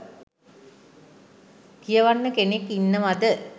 කියවන්න කෙනෙක් ඉන්නවද